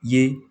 Ye